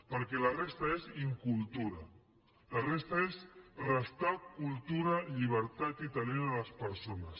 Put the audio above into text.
perquè la resta és incultura la resta és restar cultura llibertat i talent a les persones